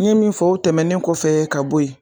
N ye min fɔ o tɛmɛnen kɔfɛ ka bɔ ye.